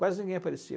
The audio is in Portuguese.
Quase ninguém aparecia.